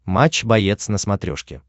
матч боец на смотрешке